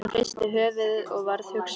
Hún hristi höfuðið og varð hugsi.